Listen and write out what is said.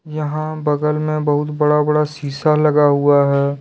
यहां बगल मे बहुत बडा बडा शीशा लगा हुआ है।